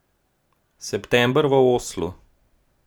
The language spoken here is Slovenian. September v Oslu.